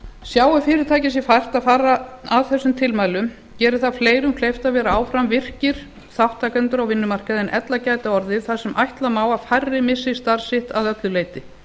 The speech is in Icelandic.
sjái fyrirtæki sér fært að fara að þessum tilmælum gerir það fleirum kleift að vera áfram virkir þátttakendur á vinnumarkaði en ella gæti orðið þar sem ætla má að færri missi starf sitt að öllu leyti